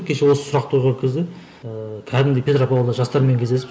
кеше осы сұрақты ыыы кәдімгі петропавлда жастармен кездесіп